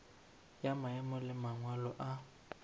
ya maemo le mangwalo a